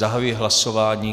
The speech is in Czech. Zahajuji hlasování.